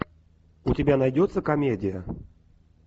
у тебя найдется комедия